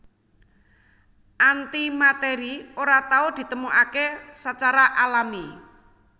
Antimatèri ora tau ditemokaké sacara alami